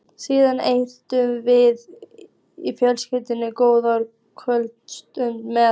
Síðan eigum við í fjölskyldunni góða kvöldstund með